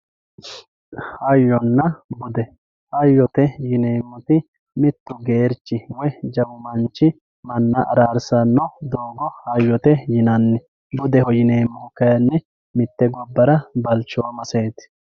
hayyonna bude hayyote yineemmoti mittu geerchi woy jawu manchi manna araarsanno doogo hayyote yinanni budeho yineemmohu kayni mitte gobbara balchoomaseeti.